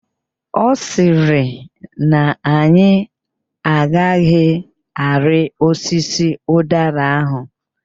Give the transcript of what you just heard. Ọ sịrị na anyị agaghị arị osisi ụdara ahụ.